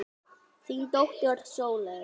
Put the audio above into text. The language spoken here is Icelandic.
Þín dóttir Sóley.